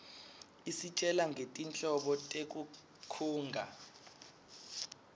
isitjela ngetinhlobo tetinkhunga